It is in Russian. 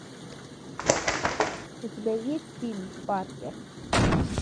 у тебя есть фильм паркер